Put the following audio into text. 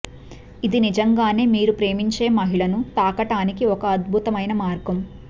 ఇది నిజంగానే మీరు ప్రేమించే మహిళను తాకటానికి ఒక అద్భుతమైన మార్గం